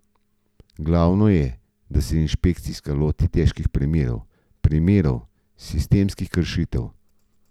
Glavno je, da se inšpekcija loti težkih primerov, primerov sistemskih kršitev.